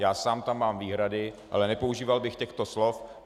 Já sám tam mám výhrady, ale nepoužíval bych těchto slov.